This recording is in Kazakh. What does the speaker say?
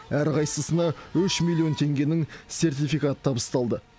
әрқайсысына үш миллион теңгенің сертификаты табысталды